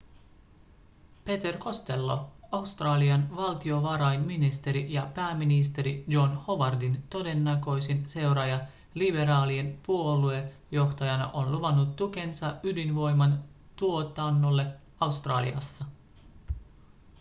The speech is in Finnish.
peter costello australian valtiovarainministeri ja pääministeri john howardin todennäköisin seuraaja liberaalien puoluejohtajana on luvannut tukensa ydinvoiman tuotannolle australiassa